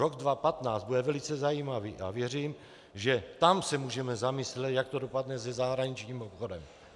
Rok 2015 bude velice zajímavý a věřím, že tam se můžeme zamyslet, jak to dopadne se zahraničním obchodem.